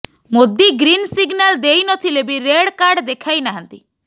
Modi green signal ଦେଇ ନ ଥିଲେ ବି ରେଡ୍ କାର୍ଡ ଦେଖାଇ ନାହାନ୍ତି